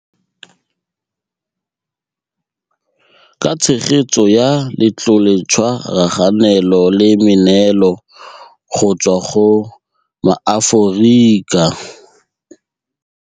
Ka tshegetso ya Letloletshwa raganelo le meneelo go tswa go maAforika.